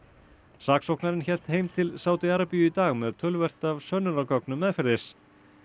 saksóknarinn hélt heim til Sádi Arabíu í dag með töluvert af sönnunargögnum meðferðis